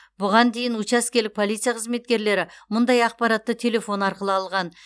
бұған дейін учаскелік полиция қызметкерлері мұндай ақпаратты телефон арқылы алған